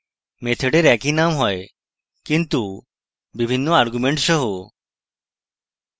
মেথডের একই name হয় কিন্তু বিভিন্ন arguments সহ